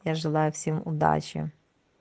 я желаю всем удачи